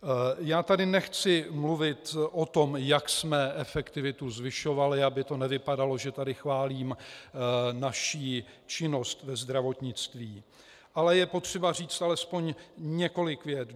Já tady nechci mluvit o tom, jak jsme efektivitu zvyšovali, aby to nevypadalo, že tady chválím naši činnost ve zdravotnictví, ale je potřeba říct alespoň několik vět.